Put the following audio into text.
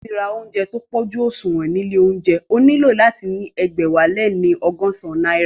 Láti ra óúnjẹ tí ó pójú òṣùwọ̀n ní ilé óúnjẹ, o nílò láti ní ẹgbẹ̀wáléní ọgọ́san náírà